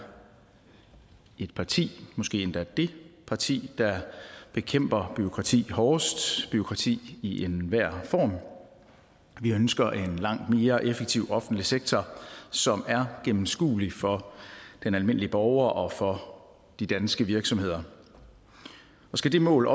et parti måske endda dét parti der bekæmper bureaukrati hårdest bureaukrati i enhver form vi ønsker en langt mere effektiv offentlig sektor som er gennemskuelig for den almindelige borger og for de danske virksomheder skal det mål